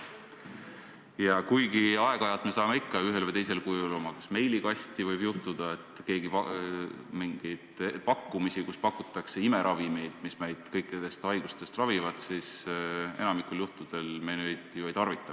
Ja kuigi aeg-ajalt võib juhtuda, et me saame ikka ühel või teisel kujul oma meilikasti mingeid pakkumisi, kus pakutakse imeravimeid, mis meid kõikidest haigustest ravivad, siis enamikul juhtudel me neid ju ei tarvita.